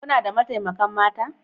Kuna da mataimakan mata?